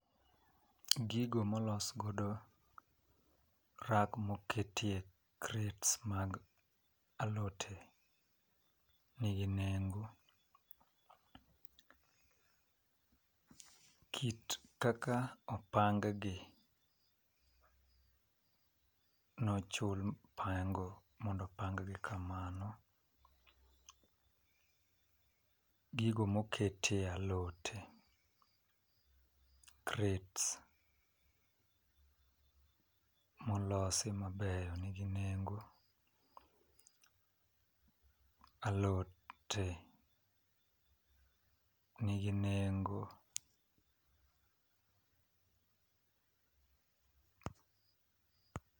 Gigo molos godo rak moketie crates mag alote nigi nengo . Kit kaka opang gi nochu mondo opang gi kamano , gigo mokete alote crates molosi mabeyo nigi nengo , alote nigi nengo